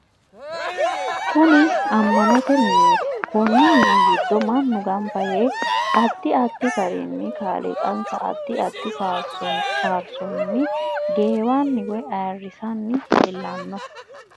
Kuni ama'note mineeti konni mini giddo manu ganbba yee addi addi garinni kaaliiqansa addi addi faarisono geewani woyi ayiirisiranni leelanno